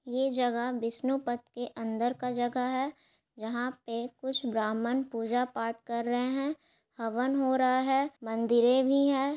ये जगह बिष्णु पथ के अंदर का जगह है जहाँ पे कुछ ब्राह्मण पूजा पाठ कर रहे है हवन हो रहा है मंदिरे भी है।